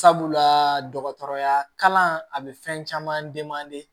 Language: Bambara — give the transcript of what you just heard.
Sabula dɔgɔtɔrɔya kalan a bɛ fɛn caman